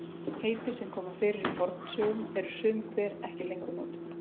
Heiti sem koma fyrir í fornsögum eru sum hver ekki lengur notuð.